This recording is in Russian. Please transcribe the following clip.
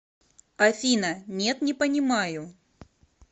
афина нет не понимаю